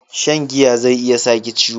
Shan giya zai sa ki ciwo